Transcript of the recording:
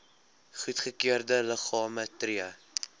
goedgekeurde liggame tree